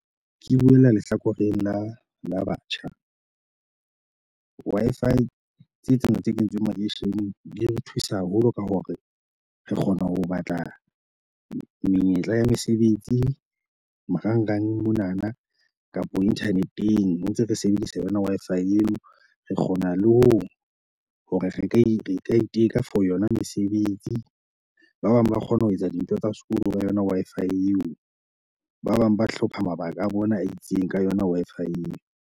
Ke buela lehlakoreng la la batjha. Wi-Fi tse tsena tse kentsweng makeisheneng di re thusa haholo ka hore re kgone ho batla menyetla ya mesebetsi marangrang monana kapo internet-eng ha ntse re sebedisa yona Wi-Fi eo. Re kgona le ho hore re ka re ka iteka for yona mesebetsi. Ba bang ba kgona ho etsa dintho tsa sekolo ka yona Wi-Fi eo. Ba bang ba hlopha mabaka a bona a itseng ka yona Wi-Fi eo.